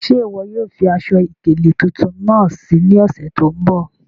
Ṣẹ́ iwọ yóò fí aṣọ-ikele tuntun naá sí ní òṣè tó nbọ̀?